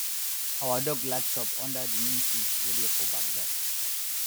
our dog like chop under di neem tree wey dey for backyard